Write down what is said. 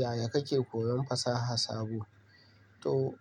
Yaya kake koyon fasaha sabo? To